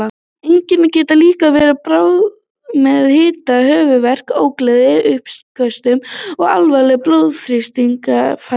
Einkennin geta líka verið bráð með hita, höfuðverk, ógleði, uppköstum og alvarlegu blóðþrýstingsfalli.